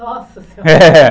Nossa senhora, é